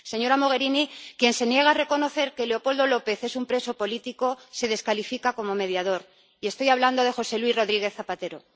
Señora Mogherini, quien se niega a reconocer que Leopoldo López es un preso político se descalifica como mediador, y estoy hablando de José Luis Rodríguez Zapatero.